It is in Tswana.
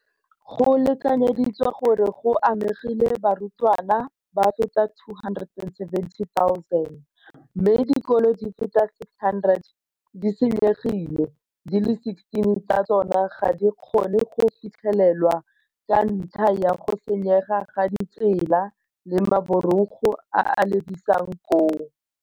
Go lekanyeditswe gore go amegile barutwana ba feta 270 000, mme dikolo di feta 600 di senyegile, di le 16 tsa tsona ga di kgone go fitlhelelwa ka ntlha ya go senyega ga ditsela le maborogo a a lebisang koo.